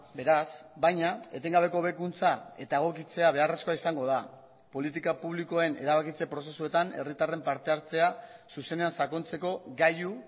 beraz baina etengabeko hobekuntza eta egokitzea beharrezkoa izango da politika publikoen erabakitze prozesuetan herritarren parte hartzea zuzenean sakontzeko gailu